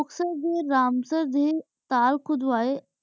ਡਰਾਮ ਸਿਰ ਡੀ ਤਾਲ ਘੁਦ੍ਵਾਯ